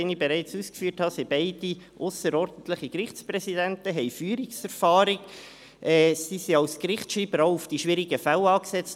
Wie ich bereits ausgeführt habe, sind beide ausserordentliche Gerichtspräsidenten, haben Führungserfahrung und wurden als Gerichtsschreiber auch auf die schwierigen Fälle angesetzt.